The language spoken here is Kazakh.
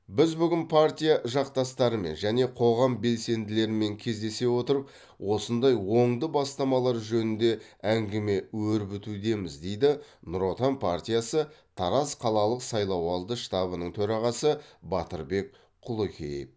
біз бүгін партия жақтастарымен және қоғам белсенділерімен кездесе отырып осындай оңды бастамалар жөнінде әңгіме өрбітудеміз дейді ңұр отан партиясы тараз қалалық сайлауалды штабының төрағасы батырбек құлекеев